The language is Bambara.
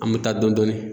An bɛ taa dɔn dɔni